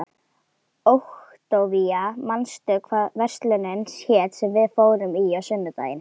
Októvía, manstu hvað verslunin hét sem við fórum í á sunnudaginn?